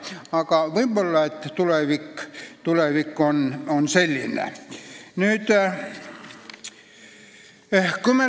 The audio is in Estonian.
Aga võib-olla on tulevik selline.